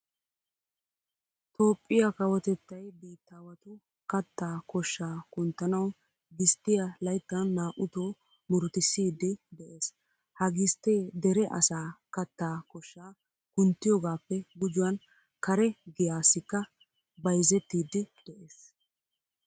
Toophphiya kawotettay biittaawatu kattaa koshshaa kunttanawu gisttiya layttan naa"utoo murutissiiddi de'ees. Ha gisttee dere asaa kattaa koshshaa kunttiyogaappe gujuwan kare giyaassikka bayzettiiddi de'ees.